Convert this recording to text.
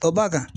Ka ba kan